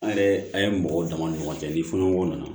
An yɛrɛ an ye mɔgɔw dama ni ɲɔgɔn cɛ ni fɔ ɲɔgɔn nana